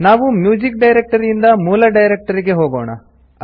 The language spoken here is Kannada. ನಾವು ಮ್ಯೂಸಿಕ್ ಡೈರೆಕ್ಟರಿಯಿಂದ ಮೂಲ ಡೈರೆಕ್ಟರಿಗೆ ಹೋಗೋಣ